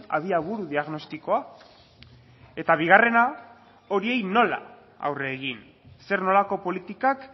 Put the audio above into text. abiaburu diagnostikoa eta bigarrena horiei nola aurre egin zer nolako politikak